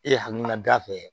E hakilina da fɛ